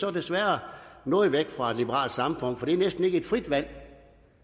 er desværre noget væk fra et liberalt samfund for det er næsten ikke et frit valg